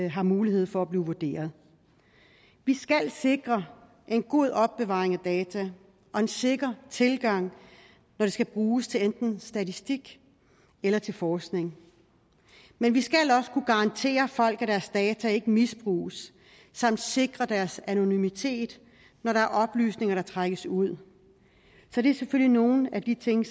har mulighed for at blive vurderet vi skal sikre en god opbevaring af data og en sikker tilgang når det skal bruges til enten statistik eller til forskning men vi skal også kunne garantere folk at deres data ikke misbruges samt sikre deres anonymitet når der er oplysninger der trækkes ud så det er selvfølgelig nogle af de ting